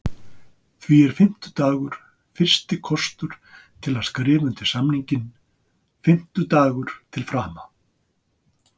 Því er fimmtudagur fyrsti kostur til að skrifa undir samninginn, fimmtudagur til frama.